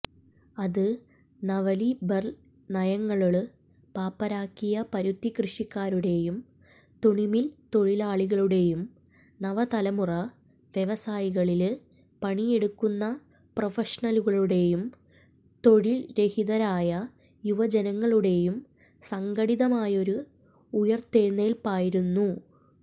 അത് നവലിബറല്നയങ്ങള് പാപ്പരാക്കിയ പരുത്തികൃഷിക്കാരുടെയും തുണിമില്തൊഴിലാളികളുടെയും നവതലമുറ വ്യവസായങ്ങളില് പണിയെടുക്കുന്ന പ്രഫഷണലുകളുടെയും തൊഴില്രഹിതരായ യുവജനങ്ങളുടെയും സംഘടിതമായൊരു ഉയിര്ത്തെഴുന്നേല്പ്പായിരുന്നു